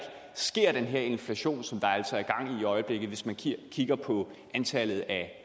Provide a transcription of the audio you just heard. sker den her inflation som der altså er gang i i øjeblikket hvis man kigger på antallet af